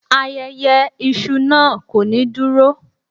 Ayẹyẹ iṣu naa ko ni duro